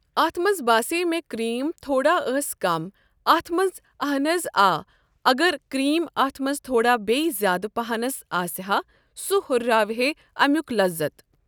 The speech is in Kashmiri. اَتھ منٛز باسے مےٚ کِرٛیٖم تھوڑا ٲس کَم اَتھ منٛز اہَن حظ آ اگر کِرٛیٖم اَتھ منٛز تھوڑا بیٚیہِ زیادٕ پَہنَس آسہِا ہ سُہ ہُراوہے ایٚمیُٚک لذت۔